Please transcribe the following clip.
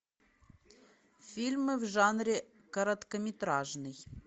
фильмы в жанре короткометражный